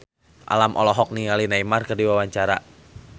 Alam olohok ningali Neymar keur diwawancara